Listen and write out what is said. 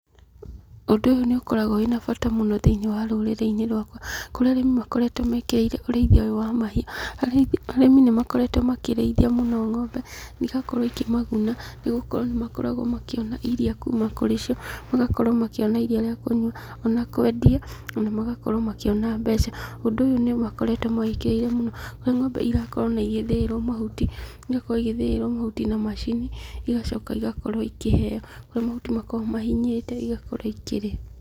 Ũndũ ũyũ nĩ ũkoragwo wĩna bata mũno thĩinĩ wa rũrĩrĩ-inĩ rwakwa, kũrĩa arĩmi makoretwo mekĩrĩire ũrĩithia ũyũ wa mahiũ, arĩmi nĩ makoretwo makĩrĩithia mũno ng'ombe, na igakorwo ikĩ maguna nĩ gũkorwo nĩ makoragwo makĩona iriia kuuma kũrĩcio, magakorwo makĩona iriia rĩa kũnyua ona kwendia, ona magakorwo makĩona mbeca. Ũndũ ũyũ nĩ makoretwo mawĩkĩrĩire mũno, harĩa ng'ombe irakorwo ona igĩthĩĩrwo mahuti, igakorwo igĩthĩĩrwo mahuti na macini, igacoka igakorwo ikĩheo, kũrĩa mahuti makoragwo mahinyĩte igakorwo ikĩrĩa.